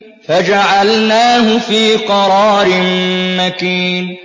فَجَعَلْنَاهُ فِي قَرَارٍ مَّكِينٍ